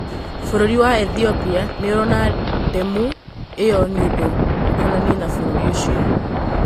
Bũrũri wa Ethiopia nĩũrona ndemu ĩyo nĩ ũndũ ũkonainie na bũrũri ũcio